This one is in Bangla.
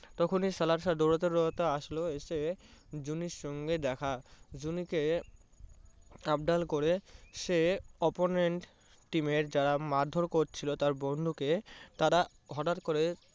তখনই সাহেব দৌড়াতে দৌড়াতে আসলো এসে জুনির সঙ্গে দেখা জুনিকে সাবধান করে সে opponent team এর যারা মারধর করছিলো তার বন্ধুকে তারা হঠাৎ করে